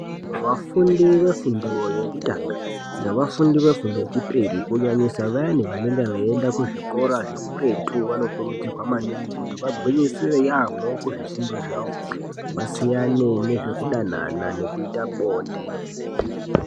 Vafundi vefundo yekutanga, nevafundi vefundo yechipiri kunyanyisa vayani vanenga veienda kuzvikora zvekuretu, vanokurudzirwa maningi kuti vagwinyisire yaamho kuzvifundo zvavo, vasiyane nezvekudanana nekuita bonde.